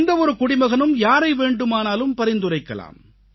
எந்த ஒரு குடிமகனும் யாரை வேண்டுமானாலும் பரிந்துரைக்கலாம்